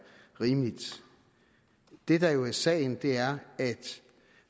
rimeligt det der jo er sagen er at